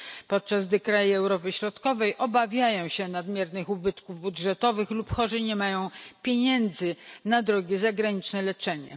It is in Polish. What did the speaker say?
podczas gdy kraje Europy Środkowej obawiają się nadmiernych ubytków budżetowych lub chorzy nie mają pieniędzy na drogie zagraniczne leczenie.